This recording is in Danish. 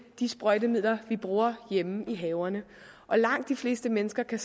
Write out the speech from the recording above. de sprøjtemidler vi bruger hjemme i haverne langt de fleste mennesker kan